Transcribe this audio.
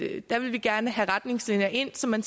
at der vil vi gerne have retningslinjer ind så man